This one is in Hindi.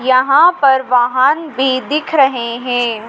यहाँ पर वाहन भी दिख रहे हैं।